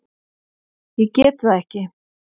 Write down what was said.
Ég get það ekki